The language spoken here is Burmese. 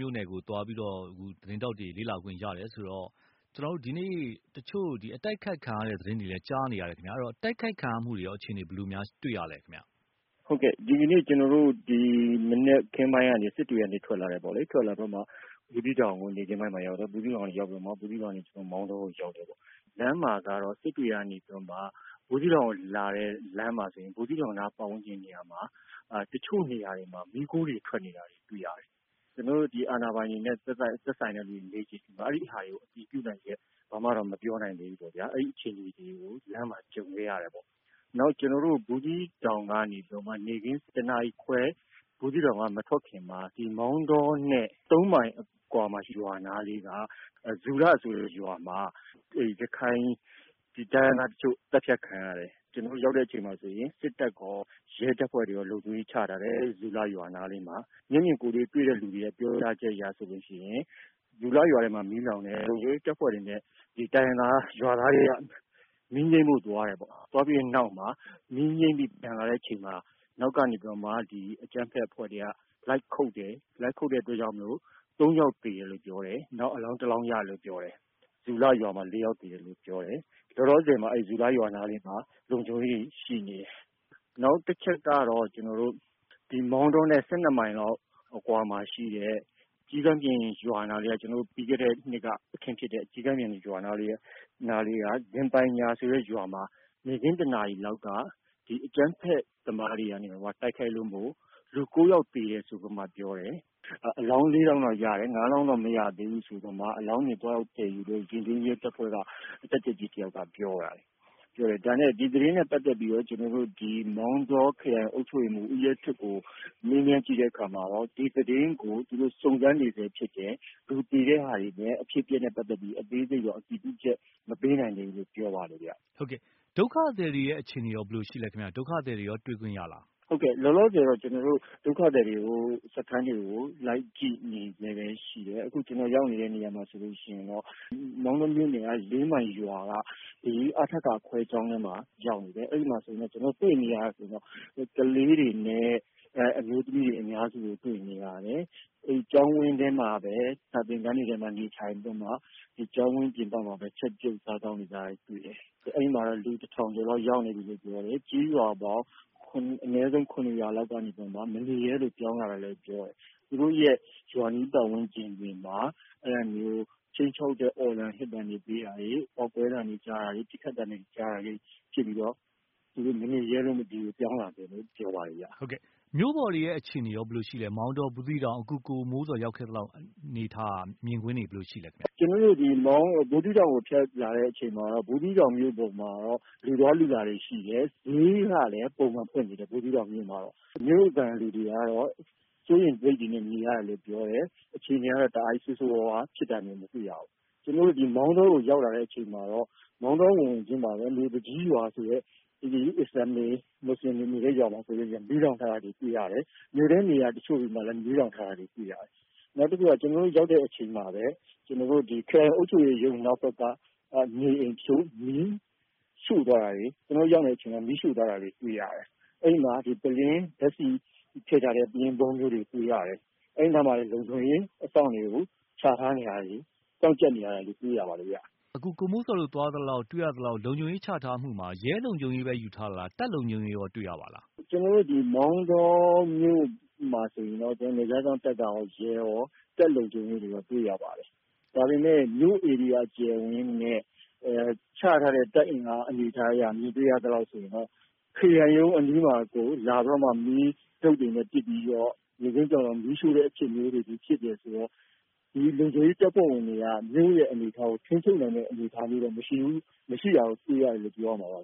မြို့နယ်ကို သွားပြီးတော့ သတင်းထောက်တွေ သွားလေ့လာခွင့်ရတယ်ဆိုတော့ ကျနော်တို့ ဒီနေ့တချို့အတိုက်အခိုက်ခံရတဲ့ သတင်းတွေလည်းကြားနေရတယ်ခင်ဗျ။ ဆိုတော့ တိုက်ခိုက်ခံရတဲ့အခြေအနေတွေရော ဘယ်လိုမျိုးတွေ့ရပါသလဲ။ ကိုမိုးဇော်။ ။ ဟုတ်ကဲ့ ဒီကနေ့ ကျနော်တို့ ဒီမနက်ခင်းပိုင်းကနေ စစ်တွေကနေ ထွက်လာတယ်ပေါ့လေ။ ဘူးသီးတောင်ကို နေ့ခင်းပိုင်းမှာရောက်တယ်။ ဘူးသီးတောင်ကိုရောက် ပြီးတော့ ကျနော်တို့ မောင်တောကို ရောက်တယ်ပေါ့နော်။ လမ်းမှာကတော့ စစ်တွေကနေ ဘူးသီးတောင်ကိုလာတဲ့လမ်းမှာဆိုရင် ဘူးသီးတောင်နားပတ်ဝန်းကျင်နေရာမှာ တချို့နေရာတွေမှာ မီးခိုးတွေ ထွက်နေတာတွေတွေ့ရတယ်။ ကျနော်တို့ ဒီအာဏာပိုင်တွေနဲ့ သက်ဆိုင်တဲ့ လူတွေကိုမေးကြည့်တော့ ဒီ ဟာတွေကို အတည်ပြုနိုင်ချက် ဘာမှတော့မပြောနိုင်သေးဘူးပေါ့နော်။ အဲဒီအခြေအနေတွေကို လမ်းမှာ ကြုံခဲ့ရတယ်ပေါ့နော်။ နောက်ကျနော်တို့ ဘူးသီးတောင်ကကနေ နေ့ခင်း ၁ နာရီခွဲ ဘူးသီးတောင်က မထွက်ခင်မှာ ဒီမောင်တောနဲ့ ၃ မိုင်အကွာ ရွာနားလေးက ဇူလဆိုတဲ့ ရွာမှာ ရခိုင်တိုင်းရင်းသားတချို့သတ်ဖြတ်ခံရတယ်။ ကျနော်တို့ရောက်တဲ့အချိန်မှာဆိုရင် စစ်တပ်ရော၊ ရဲတပ်ဖွဲ့ဝင်တွေရော လုံခြုံရေးချထားတယ် ဇူလရွာနားလေးမှာ။ မျက်မြင်ကိုယ်တွေ့ တွေ့တဲ့လူတွေကနေ ပြောကြားချက်အရဆိုရင် ဇူလရွာမှာ မီးလောင်တယ်၊ လုံခြုံရေးတပ်ဖွဲ့ဝင်တွေ နဲ့ တိုင်းရင်းသားရွာသားတွေက မီးငြိမ်းဖု့ိသွားတယ်ပေါ့။ သွားပြီးတဲ့နောက်မှာ မီးငြိမ်းပြီး ပြန်လာတဲ့အချိန်မှာ နောက်ကနေပြီးတော့မှ အကြမ်းဖက်အဖွဲ့တွေက လိုက်ခုတ်တယ်၊ လိုက်ခုတ်တဲ့အတွက်ကြောင့် ၃ ယောက်သေတယ်လို့ပြောတယ်။ နောက်အလောင်း ၁ လောင်းရတယ်လို့ပြောတယ် ဇူလရွာမှာ ၄ ယောက်သေတယ်လို့ပြောတယ်။ လောလောဆယ်မှာ ဇူလရွာနားမှာ လုံခြုံရေးတွေရှိနေတယ်။ နောက်တချက်ကတော့ ကျနော်တို့ မောင်တောနဲ့ ၁၂ မိုင်လောက်အကွာမှာရှိတဲ့ ကျီးကန်းပြင်ရွာ ၊ ပြီးခဲ့တဲ့ နှစ်က အခင်းဖြစ်တဲ့ရွာနားလေးက ဇင်ပိုင်ညာဆိုတဲ့ရွာနားမှာ နေ့ခင်း ၁ နာရီလောက်က အကြမ်းဖက်သမားတွေက တိုက်ခိုက်တာကြောင့် လူ ၉ ယောက်သေတယ်ဆိုပြီးမှ ပြောတယ်။ အလောင်း ၄ လောင်းတော့ရတယ်၊ ၅ လောင်းတော့မရသေးဘူးဆိုပြီးမှ အလောင်းတွေသွားရောက်သယ်ယူတဲ့ ရဲတပ်ဖွဲ့က တပ်ကြပ်ကြီးတယောက်ပြောတယ်။ ဒီသတင်းနဲ့ ပတ်သက်ပြီးတော့ ကျနော်တို့ မောင်တောခရိုင် အုပ်ချုပ်ရေးမှူး ဦးရဲထွဋ် ကိုမေးကြည့်တဲ့အခါမှာ ဒီသတင်းကို သူတို့ စုံစမ်းနေစဲဖြစ်တယ်။ သူဖြေတာတွေလည်း အဖြစ်အပျက်နဲ့ ပတ်သက်ပြီး အသေးစိတ်တော့အတည်ပြုချက် မပေးနိုင်သေးဘူးလို့ ပြောပါတယ်။ ကိုသားညွှန့်ဦး။ ။ ဒုက္ခသည်တွေရဲ့အခြေအနေရော ဘယ်လိုရှိသလဲ၊ ဒုက္ခသည်တွေနဲ့ရော တွေ့ခွင့်ရသလား။ ကိုမိုးဇော်။ ။ ဟုတ်ကဲ့ လောလောဆည်တော့ ကျနော်တို့ ဒုက္ခသည်စခန်းတွေ ကို လိုက်ကြည့်နေစဲပဲ ရှိတယ်။ အခုကျနော်တို့ရောက်နေတဲ့နေရာမှာဆိုရင် မောင်တောမြို့နယ် ၄ မိုင်ရွာက အထက ခွဲကျောင်းမှာရောက်နေတယ် အဲဒီမှာ ကျနော်တို့ တွေ့နေရတာကတော့ ကလေးတွေနဲ့ အမျိုးသမီးတွေ အများစုကို တွေ့နေရတယ်။ အဲဒီကျောင်းဝန်းထဲမှာပဲ စာသင်ခန်းတွေမှာပဲ နေထိုင်ပြီးတော့မှ ကျောင်းဝန်းပြင်ပမှာပဲ ချက်ပြုတ်စားသောက်နေကြတယ်။ အဲဒီမှာတော့ လူ ၁၀၀၀ ကျော်လောက်ရောက်နေ တယ်လို့ပြောတယ်၊ ကျေးရွာပေါင်း အနည်းဆုံး ၇ ရွာလောက်ကနေပြီးတော့ မနေရဲလို့ ပြောင်းလာတာလို့ပြောတယ်။ သူတို့ရွာအနီးပတ်ဝန်းကျင်တွေမှာ အဲလိုမျိုး ခြိမ်းခြောက်တဲ့ အော်သံဟစ်သံတွေပေးတာတွေ ပေါက်ကွဲသံမျိုးတွေ ပစ်ခတ်သံမျိုးတွေ ကြားတာတွေ ဖြစ်ပြီး သူတို့မနေရဲလို့ပြောင်းလာတာလို့ ပြောပါတယ်ခင်ဗျ။ ကိုသားညွှန့်ဦး။ ။ မြို့ပေါ်အခြေအနေတွေရော ဘယ်လိုရှိပါသလဲ အခုကိုမိုးဇော်ရောက် ခဲ့သလောက် အနေအထားမြင်ကွင်းတွေ ဘယ်လိုရှိသလဲခင်ဗျ။ ကိုမိုးဇော်။ ။ ကျနော်တို့ဒီ ဘူးသီးတောင်ကိုဖြတ်လာတဲ့အချိန်မှာတော့ ဘူးသီးတောင်မြို့ပေါ် မှာတော့ လူသွားလူလာတွေရှိတယ်။ ဈေးကလည်း ပုံမှန်ဖွင့်နေတယ် ဘူးသီးတောင်မြို့မှာတော့ မြို့ခံလူတွေကတော့ စိုးရိမ်စိတ်တွေနဲ့ နေရတယ်လို့ပြောတယ်။ အခြေအနေတွေကတော့ တားကြီးဆိုးဆိုးဝါးဝါး ဖြစ်တာတွေတော့ မတွေ့ရဘူး။ ကျနော်တို့ မောင်တောရောက်ရောက်ခြင်း ဝင်ဝင်ခြင်းမှာပဲ မြို့သူကြီးရွာဆိုတဲ့ မူဆလင်တွေ အစ္စလာမ်တွေနေတဲ့ရွာမှာ မီးလောင်ထားတာတွေတွေ့ရတယ်။ မြို့ထဲနေရာတချို့တွေမှာလည်း မီးလောင်ထားတာတွေတွေ့ရတယ်။ နောက်တခုက ကျနော်တို့ရောက်တဲ့အချိန်မှာပဲ ခရိုင်အုပ်ချုပ်ရေးရုံးနောက်ဘက်က နေအိမ်တချို့ကို မီးရှို့သွားတာတွေ ၊ ကျနော်တို့ ရောက်နေတဲ့အချိန်မှာပဲ မီးရှို့သွားတာတွေ တွေ့ရတယ်။ အဲဒီမှာ ဓါတ်ဆီထည့်ထားတဲ့ ပုလင်း ဗုံးမျိုးတွေတွေ့ရတယ်။ အဲဒီမှာ လုံခြုံရေးအစောင့်တွေကို ချထားတာတွေ စောင့်ကျပ်နေတာတွေကိုတွေ့ရတယ်။ ကိုသားညွှန့်ဦး။ ။ အခုကိုမိုးဇော်တို့ သွားသလောက်၊ တွေ့ရသလောက် လုံခြုံရေး ချထားတာမှ ရဲလုံခြုံရေးပဲလား၊ တပ်လုံခြုံရေးရောတွေ့ရပါသလား။ ကိုမိုးဇော်။ ။ ကျနော်တို့ မောင်တောမြို့မှာဆိုရင်တော့ နယ်ခြားစောင့်တပ်ရော၊ ရဲရော တပ်လုံခြုံရေးရော တွေ့ရပါတယ်။ ဒါပေမယ့် မြို့အကျယ်အဝန်းနဲ့ ချထားတဲ့ တပ်အင်အားမြင်တွေ့ရသလိုဆိုရင်တော့ ခရိုင်ရုံးအနီးမှာကို လာပြီးတော့ တုတ်တွေနဲ့ ပစ်ပြီးတော့ နေ့ခင်းမှာမီးရှို့တယ်ဆိုရင်တော့ ဒီလုံခြုံရေးတပ်ဖွဲ့ဝင်တွေက မြို့အနေအထား ကို ထိန်းချုပ်နိုင်တဲ့အနေအထားတွေတော့မရှိဘူး၊ မရှိတာကိုတွေ့ရ တယ်လို့ ပြောရမှာပါ